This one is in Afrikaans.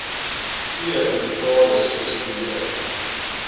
vee inventaris spesifiseer